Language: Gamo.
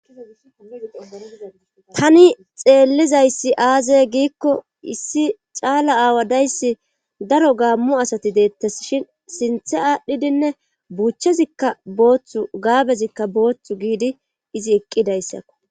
tani xeellizayssi aaze giikko issi caala aawa dayssi daro gaammu asati deettes shin sinthe aadhdhidinne buuchchezikka booththu gaabezikka booththu giidi izi eqqidayssakko